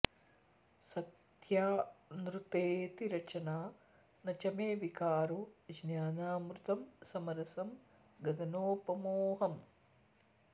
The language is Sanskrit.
सत्यानृतेति रचना न च मे विकारो ज्ञानामृतं समरसं गगनोपमोऽहम्